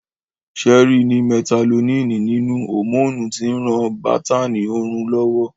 Sẹ́ẹ́rí ni mẹlatoníìnì nínú, hòmóònù tí ń ran bátáánì orun lọ́wọ́